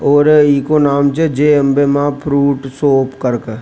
और इको नाम जे जय अंबे मां फ्रूट शॉप करके।